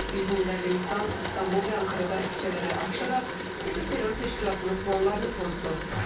Yüz minlərlə insan İstanbul və Ankarada küçələrə axışaraq FETÖ terror təşkilatının planlarını pozdu.